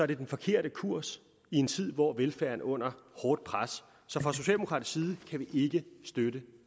det den forkerte kurs i en tid hvor velfærden er under hårdt pres så fra socialdemokratisk side kan vi ikke støtte